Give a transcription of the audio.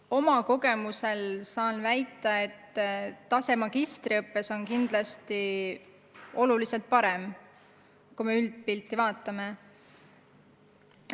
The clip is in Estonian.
Oma kogemuste põhjal saan väita, et tase magistriõppes on kindlasti oluliselt parem, kui me üldpilti vaatame.